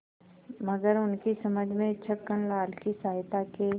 मगर उनकी समझ में छक्कनलाल की सहायता के